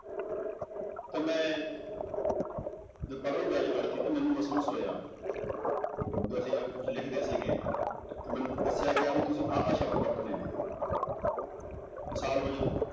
ਤਾਂ ਮੈਂ ਜਦੋਂ ਪੜ੍ਹਨ ਗਿਆ university ਤਾਂ ਮੈਨੂੰ ਮਹਿਸੂਸ ਹੋਇਆ ਜਦੋਂ ਅਸੀਂ ਕੁੱਝ ਲਿਖਦੇ ਸੀਗੇ ਤਾਂ ਮੈਨੂੰ ਦੱਸਿਆ ਗਿਆ ਵੀ ਤੁਸੀਂ ਆਹ ਆਹ ਸ਼ਬਦ ਵਰਤਣੇ ਨੇ ਮਿਸਾਲ ਵਜੋਂ